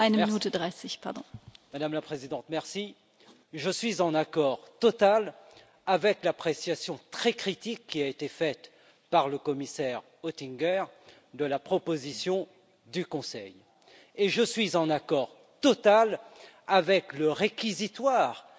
Madame la Présidente, je suis en accord total avec l'appréciation très critique qui a été faite par le commissaire Oettinger de la proposition du Conseil et je suis en accord total avec le réquisitoire qui a été fait